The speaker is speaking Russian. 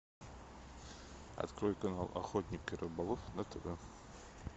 открой канал охотник и рыболов на тв